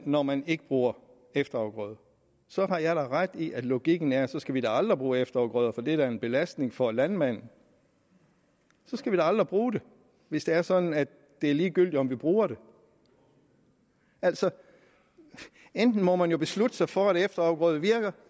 når man ikke bruger efterafgrøder har jeg da ret i at logikken er at så skal vi da aldrig bruge efterafgrøder for det er da en belastning for landmanden så skal vi da aldrig bruge det hvis det er sådan at det er ligegyldigt om vi bruger det altså enten må man jo beslutte sig for at efterafgrøder virker